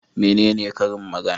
Menene karin magana?